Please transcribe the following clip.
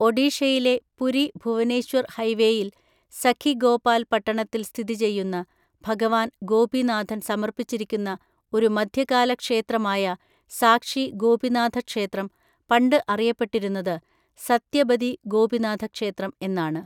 ഒഡീഷയിലെ പുരി ഭുവനേശ്വർ ഹൈവേയിൽ സഖിഗോപാൽ പട്ടണത്തിൽ സ്ഥിതി ചെയ്യുന്ന ഭഗവാൻ ഗോപിനാഥൻ സമർപ്പിച്ചിരിക്കുന്ന ഒരു മധ്യകാല ക്ഷേത്രമായ സാക്ഷി ഗോപിനാഥ ക്ഷേത്രം പണ്ട് അറിയപ്പെട്ടിരുന്നത് സത്യബദി ഗോപിനാഥ ക്ഷേത്രം എന്നാണ്.